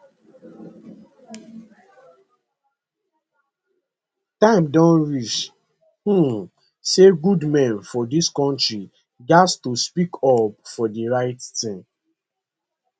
time don reach um say good men for dis kontri gatz to speak up for di right tin